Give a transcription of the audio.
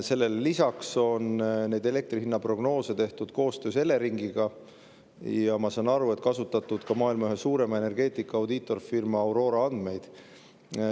Sellele lisaks on neid elektri hinna prognoose tehtud koostöös Eleringiga, ja ma saan aru, et kasutatud on ka maailma ühe suurima energeetika audiitorfirma Aurora andmeid.